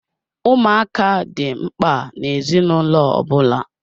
Ụmụaka dị mkpa na-ezinụlọ ọbụla.